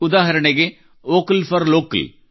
ಉದಾಹರಣಗೆ vocal for local